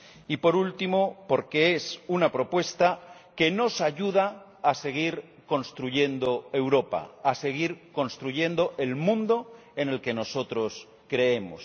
y, por último, porque es una propuesta que nos ayuda a seguir construyendo Europa, a seguir construyendo el mundo en el que nosotros creemos.